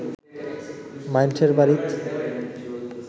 মাইনষের বাড়িত